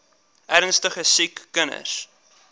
ernstige siek kinders